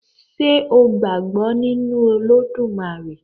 Ṣé o gbàgbọ́ nínu Olódùmarè?